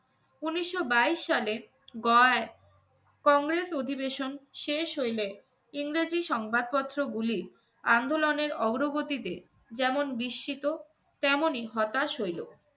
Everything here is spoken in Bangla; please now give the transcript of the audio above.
উনিশশো বাইশ সালের গয়ায়, কংগ্রেস অধিবেশন শেষ হইলে ইংরেজি সংবাদপত্রগুলি আন্দোলনের অগ্রগতিতে যেমন বিস্মিত তেমনি হতাশ হইলো।